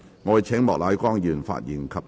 我請莫乃光議員發言及動議議案。